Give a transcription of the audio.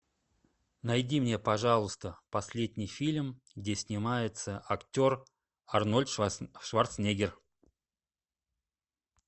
найди мне пожалуйста последний фильм где снимается актер арнольд шварценеггер